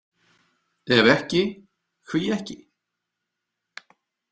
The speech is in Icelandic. Ef ekki, hví ekki?